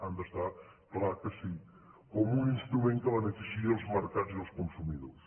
ha d’estar clar que sí com un instrument que beneficiï els mercats i els consumidors